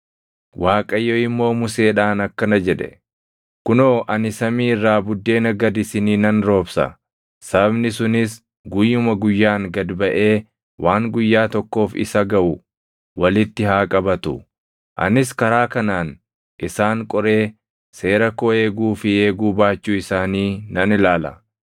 Waaqayyo immoo Museedhaan akkana jedhe; “Kunoo, ani samii irraa buddeena gad isinii nan roobsa. Sabni sunis guyyuma guyyaan gad baʼee waan guyyaa tokkoof isa gaʼu walitti haa qabatu. Anis karaa kanaan isaan qoree seera koo eeguu fi eeguu baachuu isaanii nan ilaala.